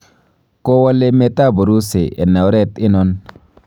Kowol emeet ab Urusi en oreet oinon.